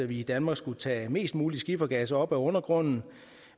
vi i danmark skulle tage mest mulig skifergas op af undergrunden